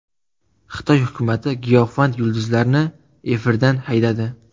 Xitoy hukumati giyohvand yulduzlarni efirdan haydadi.